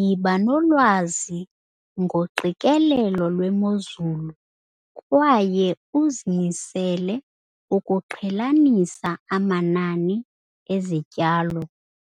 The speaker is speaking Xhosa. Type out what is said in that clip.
Yiba nolwazi ngoqikelelo lwemozulu kwaye uzimisele ukuqhelanisa amanani ezityalo